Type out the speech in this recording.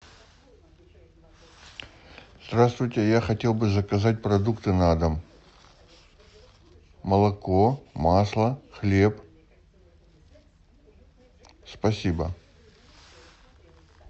здравствуйте я хотел бы заказать продукты на дом молоко масло хлеб спасибо